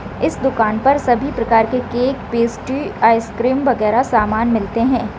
इस दुकान पर सभी प्रकार के केक पेस्ट्री आइसक्रीम वगैरा सामान मिलते है।